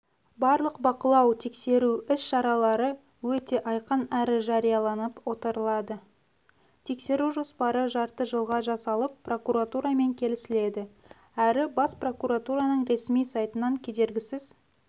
барлық бақылау-тексеру іс-шаралары өте айқын әрі жарияланып отырылады тексеру жоспары жарты жылға жасалып прокуратурамен келісіледі әрі бас прокуратураның ресми сайтынан кедергісіз